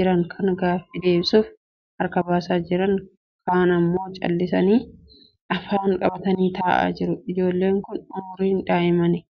jiran kaan gaaffii deebisuuf harka baasaa jiran kaan immoo callisanii afaan qabatanii taa'aa jiru. Ijoolleen kun umriin daa'immani.